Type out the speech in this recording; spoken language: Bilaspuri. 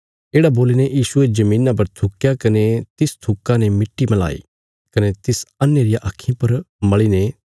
येढ़ा बोलीने यीशुये धरतिया पर थुक्या कने तिस थुक्का ने मिट्टी मलाई कने तिस अन्हे रिया आक्खीं पर मल़ीने